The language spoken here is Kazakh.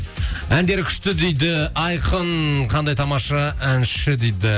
әндері күшті дейді айқын қандай тамаша әнші дейді